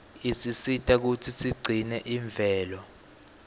isisita kutsi sigcine imvelo